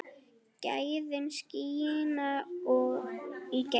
Gæðin skína í gegn.